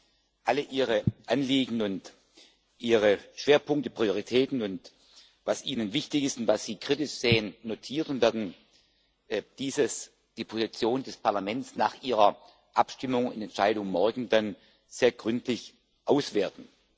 Wir haben alle Ihre Anliegen und Ihre Schwerpunkte, Prioritäten und was Ihnen wichtig ist und was Sie kritisch sehen, notiert und werden die Position des Parlaments nach Ihrer Abstimmung und Entscheidung morgen dann sehr gründlich auswerten.